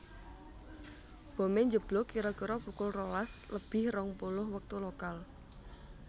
Bomé njeblug kira kira pukul rolas lebih rong puluh wektu lokal